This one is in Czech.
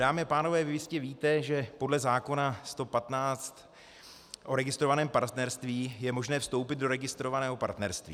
Dámy a pánové, vy jistě víte, že podle zákona 115 o registrovaném partnerství je možné vstoupit do registrovaného partnerství.